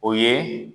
O ye